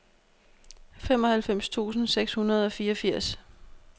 femoghalvfems tusind seks hundrede og fireogfirs